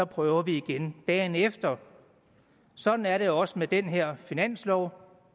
prøver vi igen dagen efter sådan er det også med den her finanslov